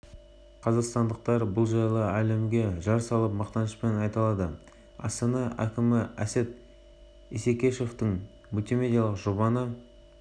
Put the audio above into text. таңдап алдық тәуелсіздіктің жылында елбасымыз нұрсұлтан назарбаевтың басшылығымен елді дамытуға қатысты қыруар істер атқарылды бүгінде